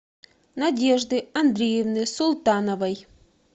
надежды андреевны султановой